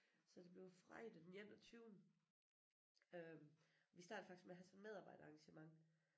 Så det bliver fredag den enogtyvende øh vi starter faktisk med at have sådan et medarbejderarrangement